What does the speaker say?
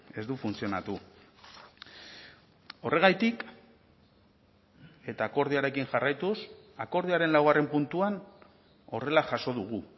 ez du funtzionatu horregatik eta akordioarekin jarraituz akordioaren laugarren puntuan horrela jaso dugu